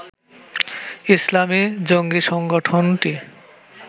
ইসলামি জঙ্গি সংগঠনটি